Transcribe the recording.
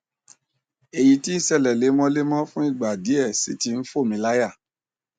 èyí tí ń ṣẹlẹ lemọlemọ fún ìgbà díẹ sì ti ń fò mí láyà